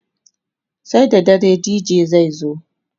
sai da dare DJ zai zo